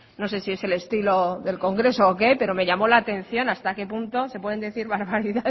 no sé si es el estilo del congreso pero me llamó la atención hasta que punto se pueden decir barbaridades